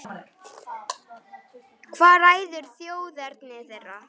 Hvað ræður þjóðerni þeirra?